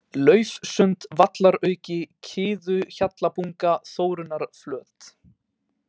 Laufsund, Vallarauki, Kiðuhjallabunga, Þórunnarflöt